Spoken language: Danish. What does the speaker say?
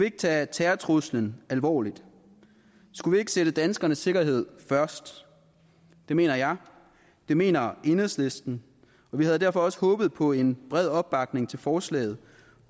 ikke tage terrortruslen alvorligt skulle vi ikke sætte danskernes sikkerhed først det mener jeg det mener enhedslisten og vi havde derfor også håbet på en bred opbakning til forslaget